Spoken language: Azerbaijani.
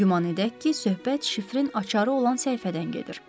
Güman edək ki, söhbət şifrin açarı olan səhifədən gedir.